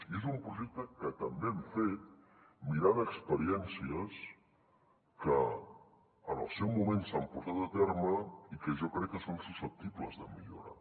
i és un projecte que també hem fet mirant experiències que en el seu moment s’han portat a terme i que jo crec que són susceptibles de millora